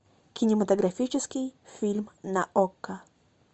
кинематографический фильм на окко